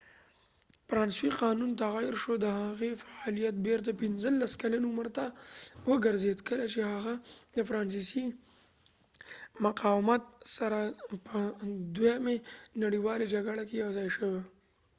فرانسوي قانون تغیر شو د هغې فعالیت بیرته 15 کلن عمر ته وګرځید کله چې هغه د فرانسې مقاومت سره په دوهمې نړیوالې جګړې کې یوځاې شو